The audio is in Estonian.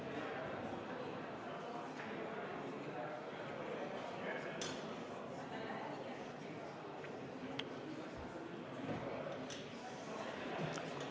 Hääletustulemused Muudatusettepaneku poolt oli 16 ja vastu 78 Riigikogu liiget, erapooletuid ei olnud.